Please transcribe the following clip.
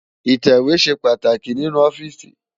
itẹwe ṣé pàtáki ninú òfìsí